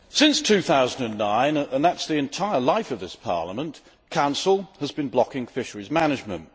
Mr President, since 2009, and that is the entire life of this Parliament, the Council has been blocking fisheries management.